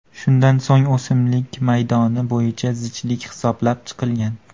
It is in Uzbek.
Shundan so‘ng o‘simliklar maydoni bo‘yicha zichlik hisoblab chiqilgan.